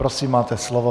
Prosím, máte slovo.